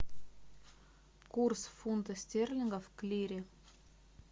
курс фунта стерлингов к лире